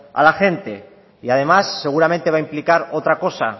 a la gente y además seguramente va a implicar otra cosa